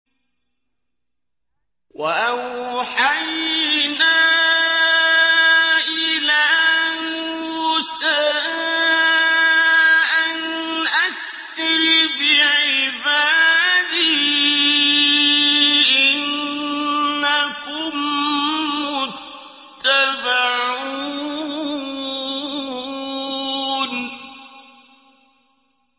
۞ وَأَوْحَيْنَا إِلَىٰ مُوسَىٰ أَنْ أَسْرِ بِعِبَادِي إِنَّكُم مُّتَّبَعُونَ